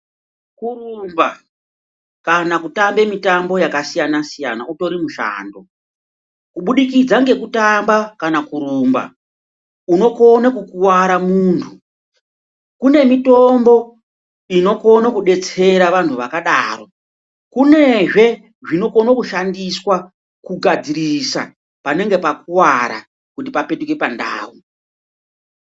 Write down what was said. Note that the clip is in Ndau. Kurumba kana kutamba mitambo yakasiyana-siyana utori mushando ,kubudikidza ngekutamba kana kurumba unokone kukuwara muntu, kune mitombo inokone kudetsera vantu vakadaro, kunezve zvinokone kushandiswa kugadzirisa panenge pakuwara kuti papetuke pandau.